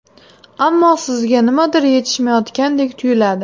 Ammo sizga nimadir yetishmayotgandek tuyiladi.